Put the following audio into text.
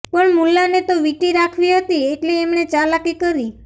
પણ મુલ્લાને તો વીંટી રાખવી હતી એટલે એમણે ચાલાકી કરી